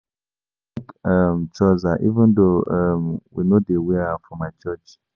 I dey like um trousers even though um we no dey wear am for my church